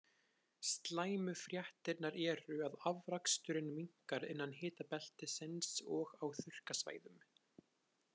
Slæmu fréttirnar eru að afraksturinn minnkar innan hitabeltisins og á þurrkasvæðum.